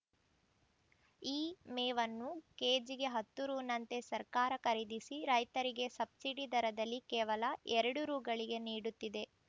ಈ ಮೇವನ್ನು ಕೆಜಿಗೆ ಹತ್ತು ರೂ ನಂತೆ ಸರ್ಕಾರ ಖರೀದಿಸಿ ರೈತರಿಗೆ ಸಬ್ಸಿಡಿ ದರದಲ್ಲಿ ಕೇವಲ ಎರಡು ರೂ ಗಳಿಗೆ ನೀಡುತ್ತಿದೆ